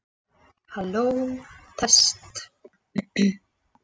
Orðið getur lýst því að tiltekin starfsemi hæfi tilteknu umhverfi.